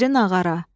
iri nağara.